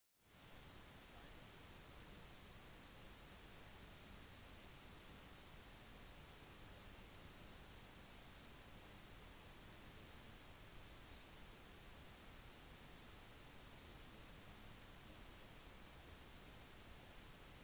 taínos og caribes var de første til å bosette seg på øya. caribes var et arawakan-pratende folk som kom rundt 10 000 f.kr